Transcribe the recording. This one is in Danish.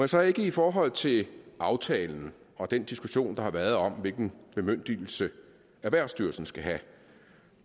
så ikke i forhold til aftalen og den diskussion der har været om hvilken bemyndigelse erhvervsstyrelsen skal have